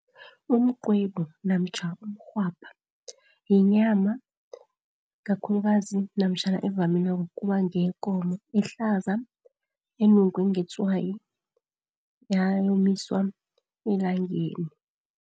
Umqwebu namtjhana umrhwabha yinyama kakhulukazi, namtjhana evamileko ukuba ngeyekomo ehlaza, enungwe ngetswayi yayomiswa elangeni.